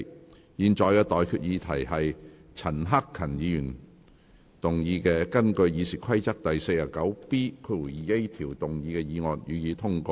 我現在向各位提出的待決議題是：陳克勤議員根據《議事規則》第 49B 條動議的議案，予以通過。